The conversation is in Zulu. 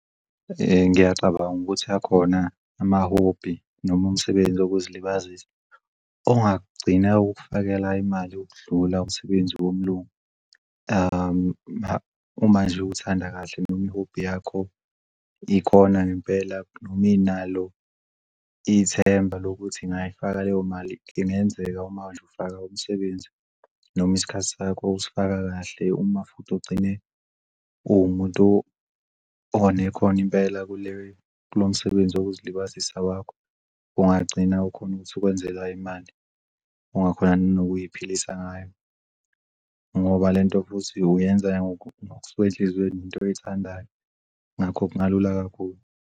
Ngiyacabanga ukuthi akhona ama-hobby nom'msebenzi wokuzilibazisa ongagcina ukufakela imali yokudlula umsebenzi womlungu. Uma nje uthanda kahle noma i-hobby yakho ikona ngempela ithemba lokuthi ngayifaka leyo mali. Kungenzeka uma nje ufaka umsebenzi noma isikhathi sakho usifaka kahle uma futhi ugcine uwumuntu onekhono impela kulowomsebenzi wokuzilibazisa kwakho, ungagcina ukhona ukuthi wenze imali ongakhona nokuziphilisa ngayo ngoba lento futhi uyenza kusuke enhlizweni into oyithandayo, ngakho kungalula kakhulu.